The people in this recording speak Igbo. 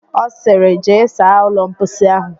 Ọ sịrị, jee saa ụlọ mposi ahụ!